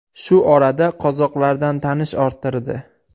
Shu orada qozoqlardan tanish orttirdi.